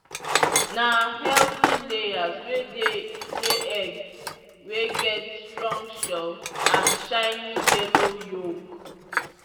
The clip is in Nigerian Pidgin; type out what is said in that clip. na healthy layers wey dey lay egg wey get strong shell and shiny yellow yolk.